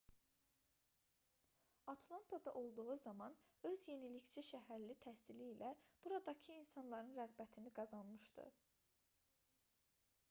atlantada olduğu zaman öz yenilikçi şəhərli təhsili ilə buradakı insanların rəğbətini qazanmışdı